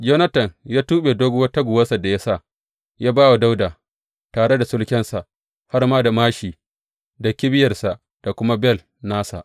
Yonatan ya tuɓe doguwar taguwarsa da ya sa, ya ba wa Dawuda, tare da sulkensa, har ma da māshi da kibiyarsa, da kuma bel nasa.